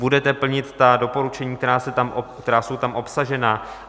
Budete plnit ta doporučení, která jsou tam obsažena?